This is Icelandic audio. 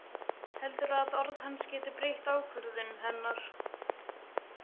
Heldur að orð hans geti breytt ákvörðun hennar.